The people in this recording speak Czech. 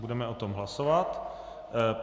Budeme o tom hlasovat.